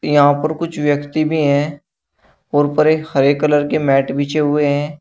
यहां पर कुछ व्यक्ति भी है और ऊपर एक हरे कलर के मैट बिछे हुए हैं।